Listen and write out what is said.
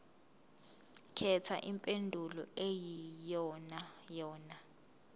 khetha impendulo eyiyonayona